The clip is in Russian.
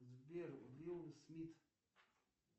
сбер уилл смит